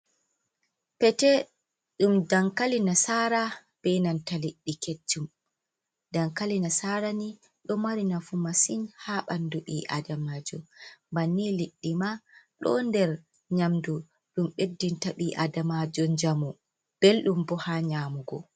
Pete ɗum dankali nasaara bee nanta liɗɗi keccum. Dankali nasaara ni ɗo mari nafu masin ha ɓanndu ɓii'aadamaajo. Bannii liɗɗi maa ɗon nder nyaamdu ɗum ɓeddinta ɓii aadamaajo njamu, belɗum bo ha nyaamugo.